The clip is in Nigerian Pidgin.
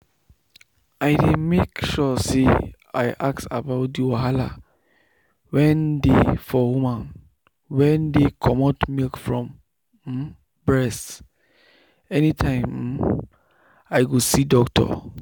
i dey make sure say i ask about the wahala wen dey for women wen dey comot milk from um breast anytime um i go see doctor.